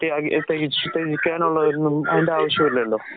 ത്യാഗി എ ത്യെകിച്ച് തെകിക്കാനുള്ളൊരൂ അതിന്റാവിശ്യവില്ലല്ലോ.